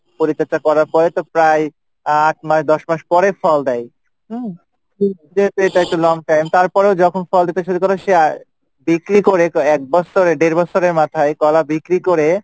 পরিচর্চা করার পড়ে তো প্রায় আট নয় দশ মাস পড়ে ফল দেয় হুম? এটা একটু long time তারপরে যখন ফল দিতে শুরু করে সে বিক্রি করে এক বছর দেড় বছরের মাথায় কলা বিক্রি করে